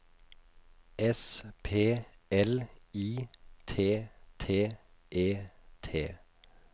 S P L I T T E T